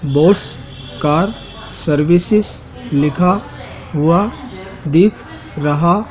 boss car services लिखा हुआ दिख रहा--